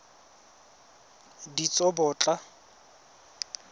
ditsobotla